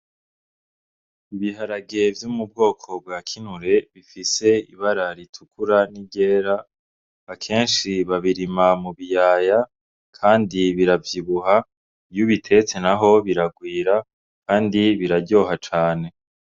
Ibiharage vyo mubwoko bwa kinure bifise ibara ritukura n'iryera, akenshi babirima mubiyaya, kandi biravyibuha ,iy'ubitetse naho biragwira, kandi biraryoha cane.